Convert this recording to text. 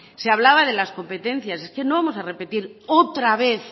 se hablaba de las competencias es que no vamos a repetir otra vez